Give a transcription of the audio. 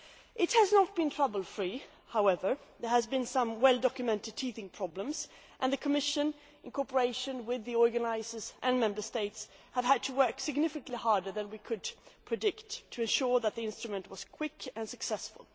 It has not been trouble free, however. There have been some well documented teething problems, and the Commission, in cooperation with the organisers and the Member States, has had to work significantly harder than we could have predicted to ensure that the instrument was quick and successful.